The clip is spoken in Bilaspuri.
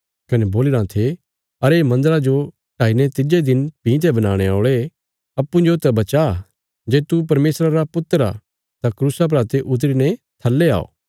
कने बोलीराँ थे अरे मन्दरा जो ढाईने तिज्जे दिन भीं ते बनाणे औल़े अप्पूँजो त बचा जे तू परमेशरा रा पुत्र आ तां क्रूसा परा ते उतरी ने थल्ले औ